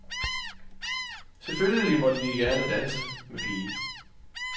Selvfølgelig måtte de gerne danse med pigen.